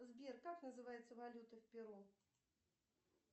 сбер как называется валюта в перу